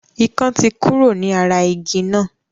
Ikán tí kúrò ní ara igi náà.